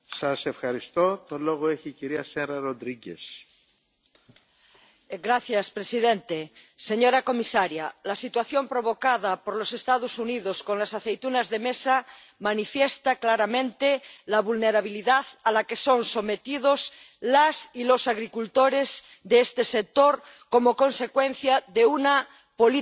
Señor presidente, señora comisaria, la situación provocada por los Estados Unidos con las aceitunas de mesa manifiesta claramente la vulnerabilidad a la que son sometidos las y los agricultores de este sector como consecuencia de una política agraria con vocación exportadora.